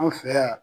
An fɛ yan